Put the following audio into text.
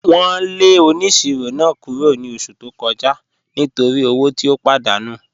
Wọn lẹ ọniṣirọ̀ náà kúrọ̀ ni ọṣù tó kọja nítorí ọwọ̀ tí ó pàdánù